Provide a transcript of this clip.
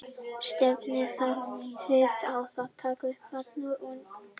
Stefnið þið á að taka upp barna og unglingastarf í framtíðinni?